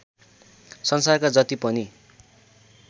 संसारका जति पनि